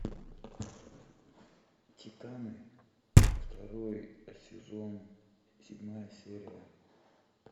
титаны второй сезон седьмая серия